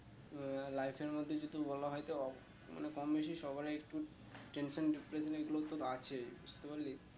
আহ life এর মধ্যে যেহুতু বলা হয়ে তো মানে কম বেশি সবারই একটু tension, depression এগুলো তো আছেই বুঝতে পারলি